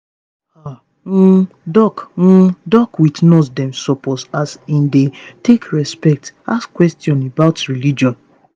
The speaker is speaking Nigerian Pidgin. ah um doc um doc with nurse dem supposeas in dey take respect ask questions about religion.